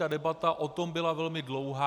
Ta debata o tom byla velmi dlouhá.